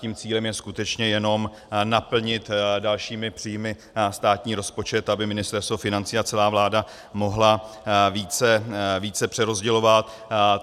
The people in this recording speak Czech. Tím cílem je skutečně jenom naplnit dalšími příjmy státní rozpočet, aby Ministerstvo financí a celá vláda mohly více přerozdělovat.